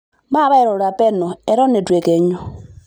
Maape airura penyo eton eitu ekenyu.